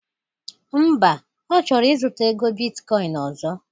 Mba,Ọ chọrọ ịzụta ego bitkọin ọzọ